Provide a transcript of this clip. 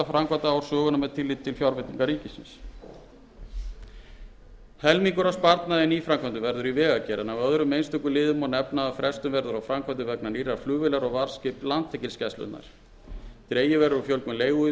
framkvæmdaár sögunnar með tilliti til fjárveitinga ríkisins helmingur af sparnaði í nýframkvæmdum verður í vegagerð en af öðrum einstökum liðum má nefna að frestun verður á framkvæmdum vegna nýrrar flugvélar og varðskips landhelgisgæslunnar dregið verður úr fjölgun leiguíbúða og